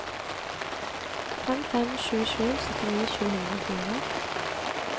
fem fem sju sju syttini sju hundre og fire